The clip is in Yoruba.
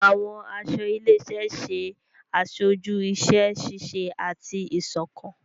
Àwọn aṣọ ilé-iṣẹ ṣe aṣoju iṣẹ-ṣiṣe ati iṣọkan.